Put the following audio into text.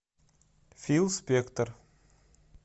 фил спектор